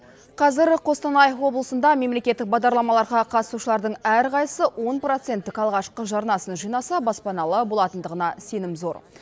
қазір қостанай облысында мемлекеттік бағдарламаларға қатысушылардың әрқайсысы он проценттік алғашқы жарнасын жинаса баспаналы болатындығына сенім зор